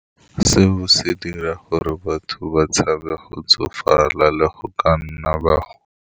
Seo se dira gore batho ba tshabe go tsofala le go ka nna ba go.